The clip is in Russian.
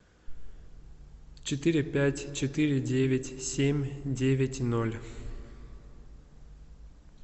четыре пять четыре девять семь девять ноль